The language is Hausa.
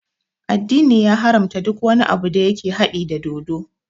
Addini ya haramta duk wani abu da yake haɗi da dodo